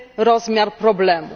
rozmiar problemu.